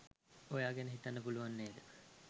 ඔයා ගැන හිතන්න පුළුවන් නේද?